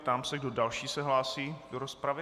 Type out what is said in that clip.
Ptám se, kdo další se hlásí do rozpravy.